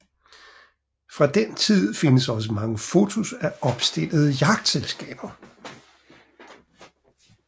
Fra den tid findes også mange fotos af opstillede jagtselskaber